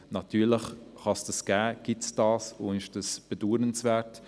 Natürlich gibt es das, und das ist bedauernswert.